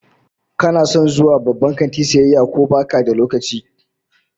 Kana son zuwa babban kanti sayayya ko baka da lokaci?